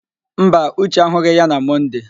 Mba, Uche ahụghị ya na Mọnde.